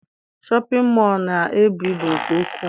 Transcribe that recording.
Shọpịn mọọ na-ebu ibu nke ukwu.